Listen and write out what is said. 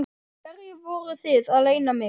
Hverju voruð þið að leyna mig?